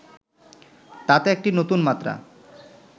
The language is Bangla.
তাতে একটি নতুন মাত্রা